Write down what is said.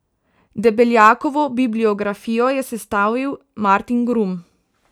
Debeljakovo bibliografijo je sestavil Martin Grum.